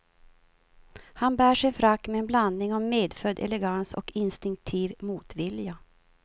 Han bär sin frack med en blandning av medfödd elegans och instinktiv motvilja.